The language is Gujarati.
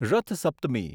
રથ સપ્તમી